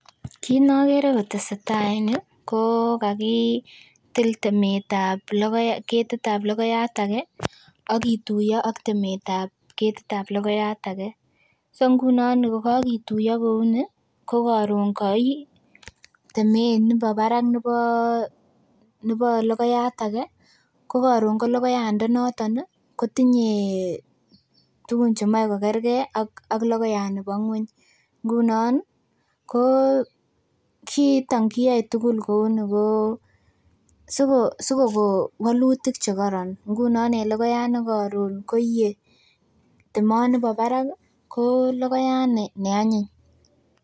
Kit nokere kotesetaa en yuu kokakitil temetab ketitab logoyat ake ak ktuiyo ak temetab ketit ab logoiyat ake. So ngunon kokakituiyo kouni kokoron koi temet nebo barak nibo logoyat ake ko karon ko logoyandanoton kotinye tugun chemoe kokergee ak logoiyat nibo ng'weny ngunon ko kiiton kiyoe tugul kouni ko sikokon walutik chekoron. ngunon en logoyat nekoron koie temonibo barak ih ko logoiyat ne anyiny